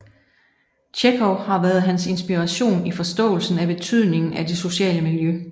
Tjekhov har været hans inspiration i forståelsen af betydningen af det sociale miljø